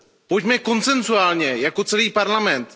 Pojďme konsensuálně jako celý Parlament.